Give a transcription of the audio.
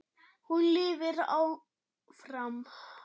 Hún lifir áfram.